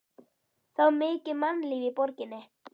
Það var mikið mannlíf í borginni.